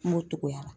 M'o togoya la